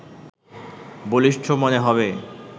বলিষ্ঠ মনে হবে